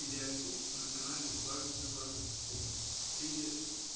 или архив на канале дважды два привет